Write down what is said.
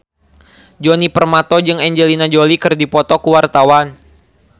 Djoni Permato jeung Angelina Jolie keur dipoto ku wartawan